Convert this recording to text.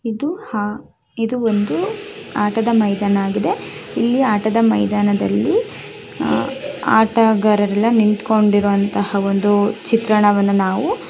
ಇದು ಹಾ ಇದು ಒಂದು ಆಟದ ಮೈದಾನ ಆಗಿದೆ ಇಲ್ಲಿ ಆಟದ ಮೈದಾನದಲ್ಲಿ ಆಟಗಾರರೆಲ್ಲ ನಿಂತ್ಕೊಂಡಿರೋ ಒಂದು ಚಿತ್ರಣವನ್ನ ನಾವು --